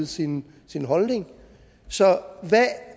sin holdning så hvad